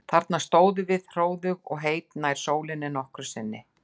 Þarna stóðum við hróðug og heit, nær sólinni en nokkru sinni fyrr.